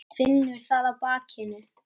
Finnur það á bakinu.